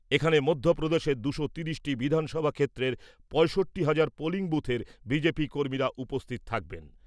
এখানে মধ্যপ্রদেশের দুশো তিরিশটি বিধানসভা ক্ষেত্রের পঁয়ষট্টি হাজার বুথের কর্মীরা উপস্থিত থাকবেন ।